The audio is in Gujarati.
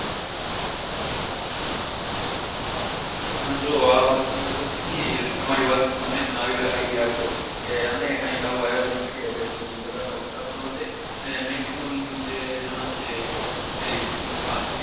હા જો આ વાત સરસ કીઘી ને તમારી વાત થી મને પન idea આવીયો ગયો કે અમે ક્યાં આવું આયોજન કરીએ જેથી બઘા નો ઉત્સાહ વઘે ને maximum જાના છે તે માં ભાગ લે